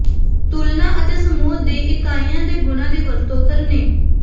ਤੁਲਨਾ ਅਤੇ ਸਮੂਹ ਦੀ ਇਕਾਈਆਂ ਦੇ ਗੁਣਾਂ ਦੀ ਵਰਤੋਂ ਕਰਨੀ